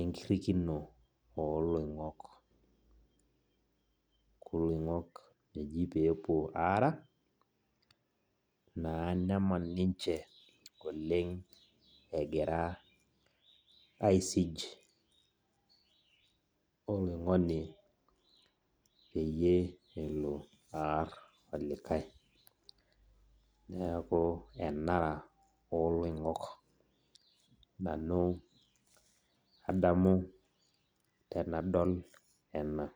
enkirrikino oloing'ok. Neeku iloing'ok eji pepuo ara, naa neman ninche oleng egira aisij oloing'oni peyie elo aar olikae. Neeku enara oloing'ok nanu adamu tenadol ena.